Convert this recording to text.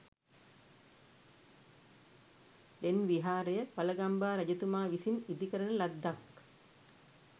ලෙන් විහාරය වළගම්බා රජතුමා විසින් ඉදිකරන ලද්දක්